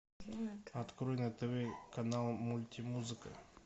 открой на тв канал мультимузыка